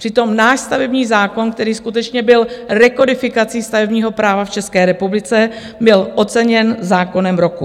Přitom náš stavební zákon, který skutečně byl rekodifikací stavebního práva v České republice, byl oceněn zákonem roku.